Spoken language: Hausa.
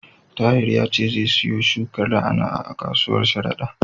Tahir ya ce zai siyo shukar na'a-na'a a kasuwar Sharada.